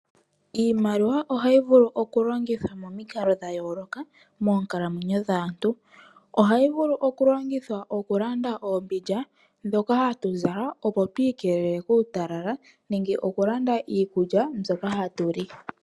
Iimaliwa ohayi vulu okulongitha momikalo dhayooloka moonkalamwenyo dhaantu. Ohayi vulu okulongithwa okulanda oombindja dhoka hatu zala opo twiikelela kuutala nenge yilande iikulya mbyoka hatu li.